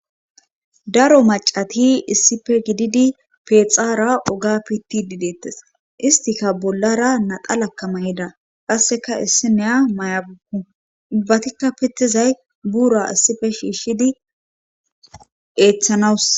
daro macati issife gididi pexaara oga pitidi deettes istika bollara naxalakamayda qasseka issi neya may7a gukku ubbatikka pittizay buura issife shiishshidi eeththanawus